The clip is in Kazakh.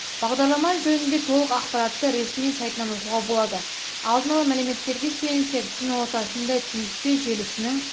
бағдарлама жөнінде толық ақпаратты ресми сайтынан оқуға болады алдын ала мәліметтерге сүйенсек түн ортасында түйіспе желісінің